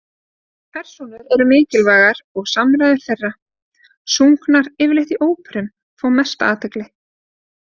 Persónur eru mikilvægar og samræður þeirra, sungnar yfirleitt í óperum, fá mesta athygli.